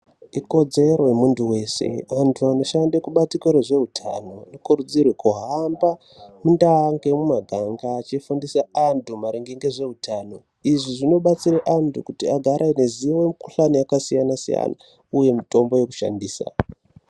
Ikodzero yemuntu veshe vantu vanoshanda kubandiko rezveutano vanokurudzirwe kuhamba mundau nemumaganga achifundisa antu maringe nezveutano. Izvi zvinobatsira antu kagare aine zivo mikuhlani yakasiyana siyana, uye mitombo yekushandisa